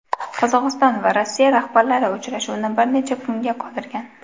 Qozog‘iston va Rossiya rahbarlari uchrashuvni bir necha kunga qoldirgan.